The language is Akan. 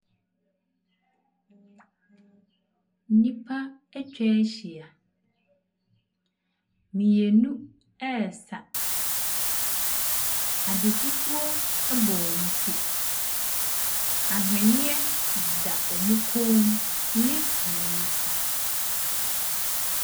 Nn….nn…nnipa atwa ahyia. Mmienu resa. Ade fufuo bɔ wɔn ti. Ahwenneɛ deda wɔn kɔn mu ne wɔn nsa.